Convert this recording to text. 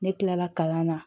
Ne kilala kalan na